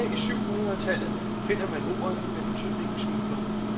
Tilbage i syv hundrede tallet finder man ordet med betydningen smugler.